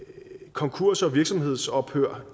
konkurs og virksomhedsophør